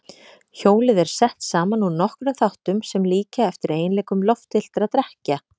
Hjólið er sett saman úr nokkrum þáttum sem líkja eftir eiginleikum loftfylltra dekkja.